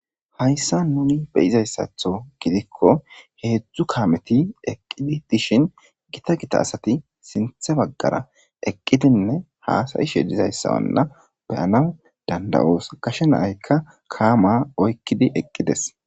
Hayssa nuni beyizayssatho gidikko heedzdzu kaameti eqqidi dishin gita gita asati sinthe baggara eqqidinne haasayishe dizayssa anna beyanaw danda'oosa kashe naaykka kaama oykkidi eqqides.